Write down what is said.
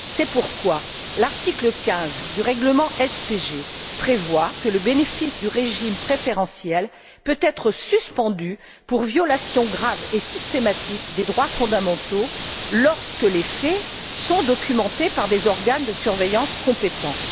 C'est pourquoi l'article 15 du règlement SPG prévoit que le bénéfice du régime préférentiel peut être suspendu pour violations graves et systématiques des droits fondamentaux, lorsque les faits sont documentés par des organes de surveillance compétents.